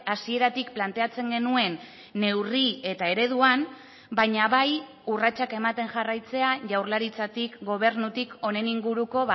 hasieratik planteatzen genuen neurri eta ereduan baina bai urratsak ematen jarraitzea jaurlaritzatik gobernutik honen inguruko